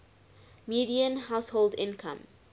median household income